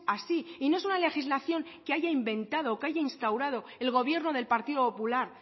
así y no es una legislación que haya inventado o que haya instaurado el gobierno del partido popular